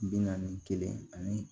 Bi naani kelen ani